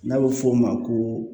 N'a bɛ fɔ o ma ko